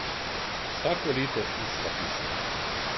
Vsako leto ista pesem.